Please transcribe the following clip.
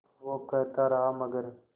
वो कहता रहा मगर